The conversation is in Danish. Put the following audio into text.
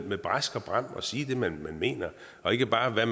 med brask og bram og sige det man mener og ikke bare det